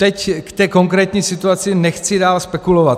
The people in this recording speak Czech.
Teď k té konkrétní situaci nechci dál spekulovat.